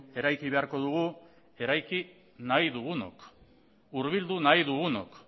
eraiki beharko dugu eraiki nahi dugunok hurbildu nahi dugunok